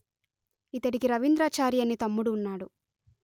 ఇతడికి రవీంద్రాచారి అనే తమ్ముడు ఉన్నాడు